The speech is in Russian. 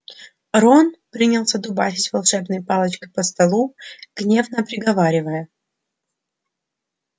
рон принялся дубасить волшебной палочкой по столу гневно приговаривая